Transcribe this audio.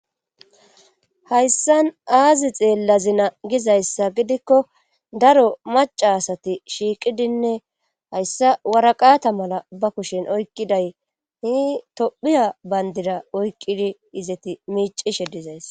Hayssan aazi xeellazina gizayssa gidikko daro maca asati shiiqidinne hayssa waraqata mala ba kushshen oykqiday hi tophphiya bayndida oykqidi izeti miicishshe dizays